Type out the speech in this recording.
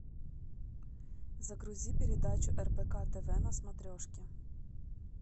загрузи передачу рбк тв на смотрешке